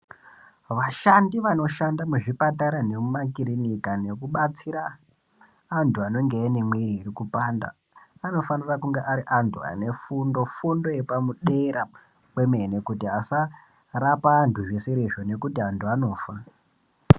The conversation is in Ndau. Vashandi vanoshanda muzvipatara nemumakirika nekubatsira anhu aanenge ane mwiri iri kupanda anofanire kunge ari antu ane fundo, fundo yepadera kwemene kuti asarapa antu zvisirizvo ngekuti vantu vanofa.